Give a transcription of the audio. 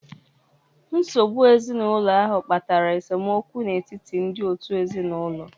Nsogbu ezinụlọ ahụ kpatara esemokwu n'etiti ndị òtù ezinụlọ.